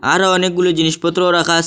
আরো অনেকগুলি জিনিসপত্রও রাখা আসে।